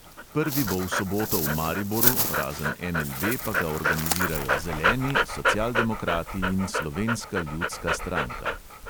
Prvi bo v soboto v mariboru, razen NLB pa ga organizirajo zeleni, socialdemokrati in slovenska ljudska stranka.